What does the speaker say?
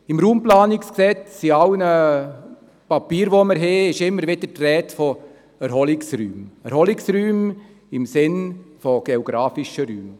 Im Bundesgesetz über die Raumplanung (Raumplanungsgesetz, RPG), in allen Papieren, die wir haben, ist immer wieder die Rede von Erholungsräumen, Erholungsräumen im Sinne von geografischen Räumen.